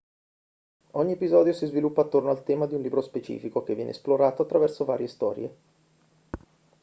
ogni episodio si sviluppa attorno al tema di un libro specifico che viene esplorato attraverso varie storie